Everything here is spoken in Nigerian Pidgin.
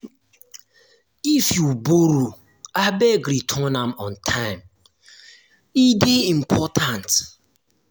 if you borrow abeg return am on time. e dey important.